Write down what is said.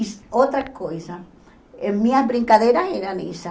E outra coisa, minhas brincadeiras eram essas.